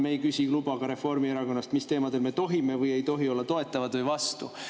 Me ei küsi luba ka Reformierakonnast, mis teemadel me tohime või ei tohi olla toetavad või vastu.